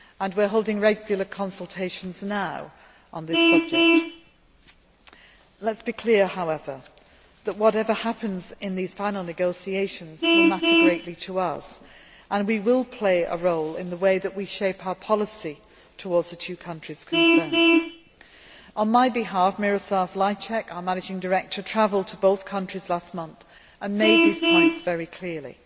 We are holding regular consultations now on this subject. Let me be very clear, however. Whatever happens in these final negotiations will matter greatly to us and we will play a role in the way we shape our policy towards the two countries concerned. On my behalf, Miroslav Lajcak, our managing director, travelled to both countries last month, and made these points very clearly.